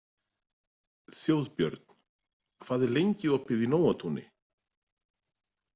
Þjóðbjörn, hvað er lengi opið í Nóatúni?